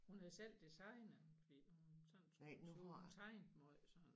Hun havde selv designet den fordi hun sådan skulle hun tegnede meget sådan